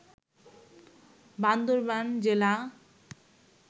বান্দরবান জেলা